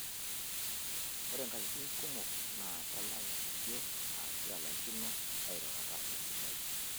Ore nkatitin kumok naa kelau injio aashu elaikino airurata esidai.